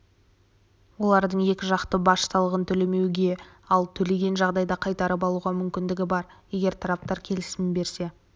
олардың екіжақты баж салығын төлемеуге ал төлеген жағдайда қайтарып алуға мүмкіндігі бар егер тараптар келісімін берсе